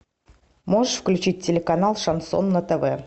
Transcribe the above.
можешь включить телеканал шансон на тв